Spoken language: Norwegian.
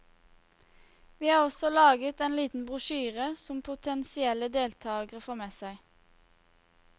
Vi har også laget en liten brosjyre som potensielle deltakere får med seg.